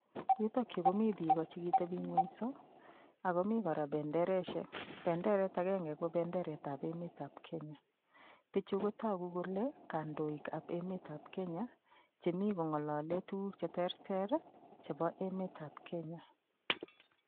Yutikyu komi piko chekiteping'wenso akomi kora bendereshek. Benderet agenge kobo enmetab Kenya. Pichu kotogu kole kandoikab emetab Kenya chemi kong'olole tukuk che terter chebo emetab kenya.